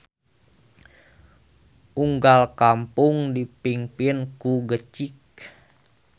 Unggal kampong dipingpin ku gecik.